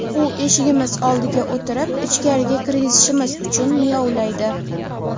U eshigimiz oldiga o‘tirib, ichkariga kirgizishimiz uchun miyovlaydi.